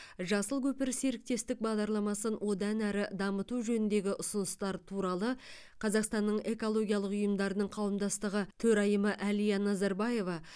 жасыл көпір серіктестік бағдарламасын одан әрі дамыту жөніндегі ұсыныстар туралы қазақстанның экологиялық ұйымдарының қауымдастығы төрайымы әлия назарбаева